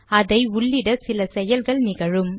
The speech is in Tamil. அதை உள்ளிட சில செயல்கள் நிகழும்